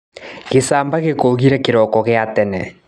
Gicamba gĩkũgire kĩroko gia tene.